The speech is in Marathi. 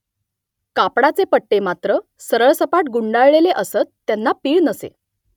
कापडाचे पट्टे मात्र सरळसपाट गुंडाळलेले असत त्यांना पीळ नसे